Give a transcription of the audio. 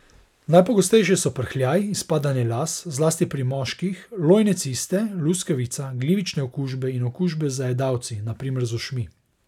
Najpogostejše so prhljaj, izpadanje las, zlasti pri moških, lojne ciste, luskavica, glivične okužbe in okužbe z zajedavci, na primer z ušmi.